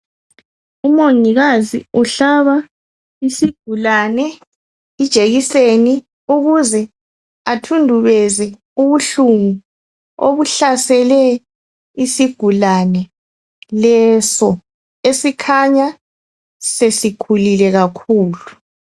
Umongikazi uhlaba isigulane ijekiseni ukuze athundubeze ubuhlungu obuhlasele isigulane leso esikhanya sesikhulile kakhulu.